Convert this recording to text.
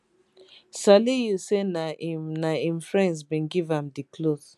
saliu say na im na im friends bin give am di cloth